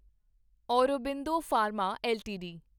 Aurobindo pharma LTD